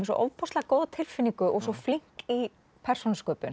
svo ofboðslega góða tilfinningu og svo flink í persónusköpun